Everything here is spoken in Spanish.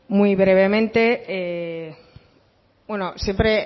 muy brevemente bueno siempre